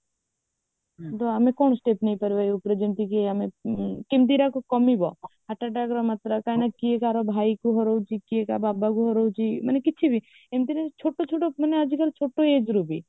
ସେମିତି ଆମେ କଣ step ନେଇପାରିବା ଯାଉଥିରେ ଯେମିତିକି ଆମେ ହଁ ହଁ କେମିତି ଏଇଟା କମିବ heart attackର ମାତ୍ରା କଇଁ ନା କିଏ କାହାର ଭାଇ କିଏ ରହୁଛି କିଏ କାହା ବାବା ରହୁଛି ମାନେ କିଛି ବି ଏମିତିରେ ଛୋଟ ଛୋଟ ପୁଣି ଆଜି କଲି ଛୋଟ ageରୁ ବି